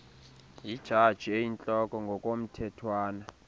yijaji eyintloko ngokomthethwana